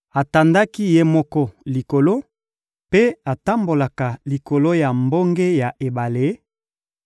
Atandaki Ye moko Likolo mpe atambolaka likolo ya mbonge ya ebale;